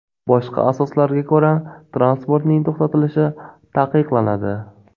Boshqa asoslarga ko‘ra transportning to‘xtatilishi taqiqlanadi.